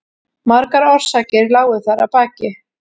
Margar orsakir lágu þar að baki.